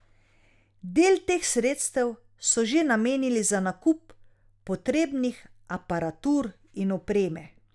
Del teh sredstev so že namenili za nakup potrebnih aparatur in opreme.